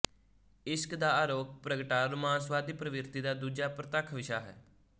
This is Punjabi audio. ਇਸ਼ਕ ਦਾ ਆਰੋਕ ਪ੍ਰਗਟਾ ਰੁਮਾਂਸਵਾਦੀ ਪ੍ਰਵਿਰਤੀ ਦਾ ਦੂਜਾ ਪ੍ਰਤੱਖ ਵਿਸ਼ਾ ਹੈ